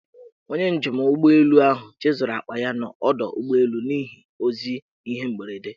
Onye njem ụgbọelu ahụ chezọrọ akpa ya n' ọdọụgbọelu n' ihi ozi ihe mberede.